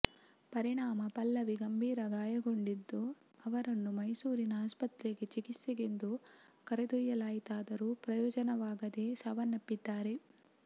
ಪರಿಣಾಮ ಪಲ್ಲವಿ ಗಂಭೀರ ಗಾಯಗೊಂಡಿದ್ದು ಅವರನ್ನು ಮೈಸೂರಿನ ಆಸ್ಪತ್ರೆಗೆ ಚಿಕಿತ್ಸೆಗೆಂದು ಕರೆದೊಯ್ಯಲಾಯಿತಾದರೂ ಪ್ರಯೋಜನವಾಗದೆ ಸಾವನ್ನಪ್ಪಿದ್ದಾರೆ